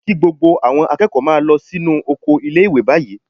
Kí gbogbo àwọn akẹ́kọ̀ọ́ máa lọ sínú oko ilé-ìwé báyìí